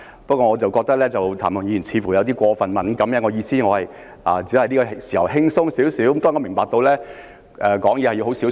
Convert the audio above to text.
不過，我覺得譚文豪議員似乎有點過分敏感，因為我原本只想在這個時候輕鬆一點，當然，我明白說話要很小心。